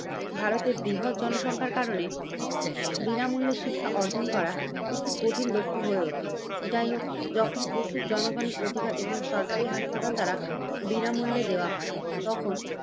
ভারতের বৃহৎ জনসংখ্যার কারণে বিনামূল্য শিক্ষা অর্জন করা এটি কঠিন লক্ষ্য হয়ে ওঠে। যাই হোক যখন ওষুধ জনগণের অধিকার এবং সরকারি হাসপাতাল দ্বারা বিনামূল্যে দেওয়া হয়। তখন